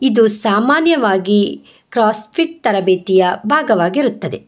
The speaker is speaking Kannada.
ಇದು ಸಾಮಾನ್ಯವಾಗಿ ಕ್ರಾಸ್ ಫಿಟ್ ತರಬೇತಿಯ ಭಾಗವಾಗಿರುತ್ತದೆ.